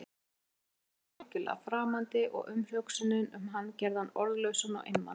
Ísskápurinn var honum algjörlega framandi og umhugsunin um hann gerði hann orðlausan og einmana.